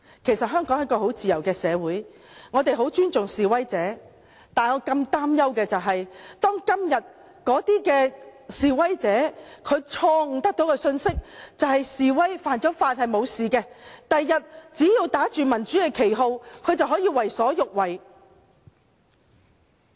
其實香港是一個很自由的社會，我們很尊重示威者，但我更擔憂的是，假如今天的示威者得到即使犯法也不會有後果的錯誤信息，他們日後只要打着民主旗號便可為所欲為。